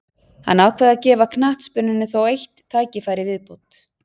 Hann ákvað að gefa knattspyrnunni þó eitt tækifæri í viðbót.